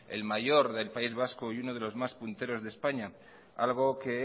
el mayor del país vasco y uno de los más punteros de españa algo que